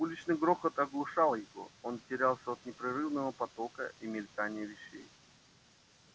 уличный грохот оглушал его он терялся от непрерывного потока и мелькания вещей